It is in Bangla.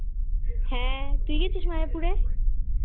হ্যাঁ তুই গেছিস মায়াপুরে?